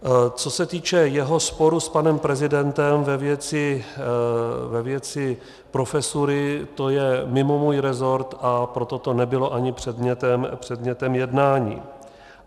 Co se týče jeho sporu s panem prezidentem ve věci profesury, to je mimo můj resort, a proto to nebylo ani předmětem jednání.